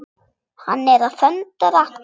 Hann er að föndra.